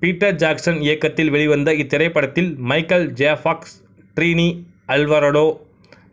Peter Jackson இயக்கத்தில் வெளிவந்த இத்திரைப்படத்தில் Michael J Fox Trini Alvarado